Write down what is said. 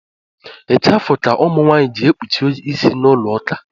Ichafụ ka ụmụ ji ekpuchi ịsị n’ụlọuka